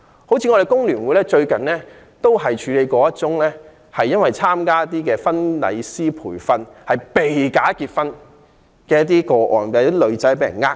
香港工會聯合會最近便處理了一宗因為參加婚禮師培訓課程而"被假結婚"的個案，有女士被騙。